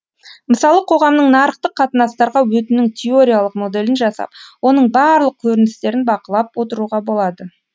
мысалы қоғамның нарықтық қатынастарға өтуінің теориялық моделін жасап оның барлық көріністерін бақылап отыруға болады